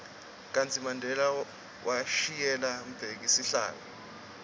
kartsi mandela washiyela mbheki sihlalo